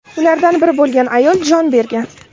Ulardan biri bo‘lgan ayol jon bergan.